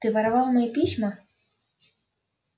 ты воровал мне письма